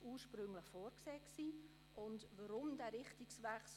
Ursprünglich war eine Kenntnisnahme vorgesehen.